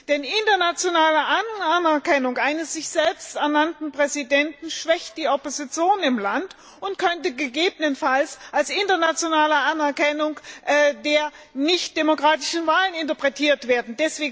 Denn internationale Anerkennung eines selbsternannten Präsidenten schwächt die Opposition im Land und könnte gegebenenfalls als internationale Anerkennung der nicht demokratischen Wahlen interpretiert werden.